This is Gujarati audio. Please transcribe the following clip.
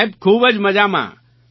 સાહેબ ખૂબ જ મજામાં